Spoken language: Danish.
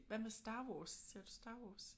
Hvad med Star Wars? Ser du Star Wars?